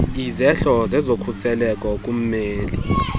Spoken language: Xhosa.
izehlo zezokhuseleko kummeli